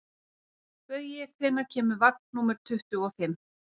Baui, hvenær kemur vagn númer tuttugu og fimm?